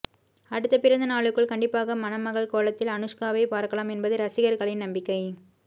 அடுத்த பிறந்த நாளுக்குள் கண்டிப்பாக மணமகள் கோலத்தில் அனுஷ்காவை பார்க்கலாம் என்பது ரசிகர்களின் நம்பிக்கை